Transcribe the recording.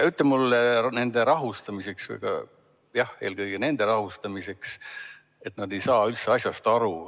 Ütle mulle nende rahustamiseks – jah, eelkõige nende rahustamiseks –, et nad ei saa üldse asjast aru.